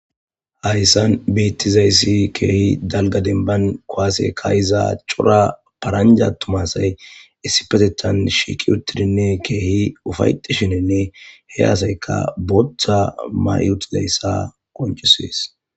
Haysan beetizaysi keehi dalga demban kuwase kaa'iza cora paranja atuma asay issipetetan shiiqidi keehi ufaytishinine he asayka boota mayutidaysa qoncises.